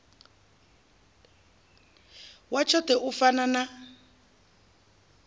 wa tshoṱhe u fana na